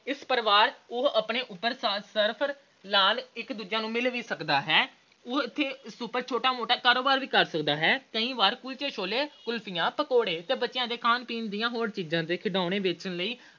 ਇਸ ਪ੍ਰਕਾਰ ਇਸ ਉਪਰ ਸਫਰ ਨਾਲ ਇੱਕ ਦੂਜੇ ਨੂੰ ਮਿਲ ਵੀ ਸਕਦਾ ਹੈ। ਉਹ ਇਥੇ ਛੋਟਾ-ਮੋਟਾ ਕਾਰੋਬਾਰ ਵੀ ਕਰ ਸਕਦਾ ਹੈ। ਕਈ ਵਾਰ ਕੁਲਚੇ-ਛੋਲੇ, ਕੁਲਫੀਆਂ, ਪਕੌੜੇ ਤੇ ਬੱਚਿਆਂ ਦੇ ਖਾਣ-ਪੀਣ ਦੀਆਂ ਹੋਰ ਚੀਜਾਂ ਤੇ ਖਿਡੌਣੇ ਵੇਚਣ ਲਈ